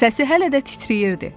Səsi hələ də titrəyirdi.